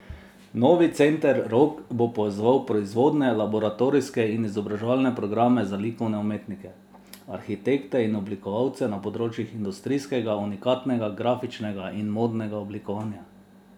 Novi Center Rog bo povezoval proizvodne, laboratorijske in izobraževalne programe za likovne umetnike, arhitekte in oblikovalce na področjih industrijskega, unikatnega, grafičnega in modnega oblikovanja.